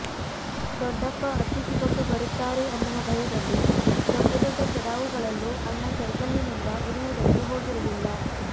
ದೊಡ್ಡಪ್ಪ ಅಟ್ಟಿಸಿಕೊಂಡು ಬರುತ್ತಾರೆ ಅನ್ನುವ ಭಯದಲ್ಲಿ ದೊಡ್ಡ ದೊಡ್ಡ ಚಡಾವುಗಳಲ್ಲೂ ಅಣ್ಣ ಸೈಕಲ್ಲಿನಿಂದ ಇಳಿಯುವುದಕ್ಕೆ ಹೋಗಿರಲಿಲ್ಲ